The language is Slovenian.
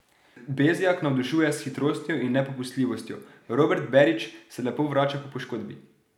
Bezjak navdušuje s hitrostjo in nepopustljivostjo, Robert Berić se lepo vrača po poškodbi.